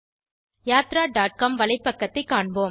yatraகாம் வலைப்பக்கத்தை காண்போம்